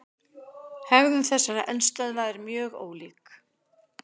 Hegðun þessara eldstöðva er mjög ólík.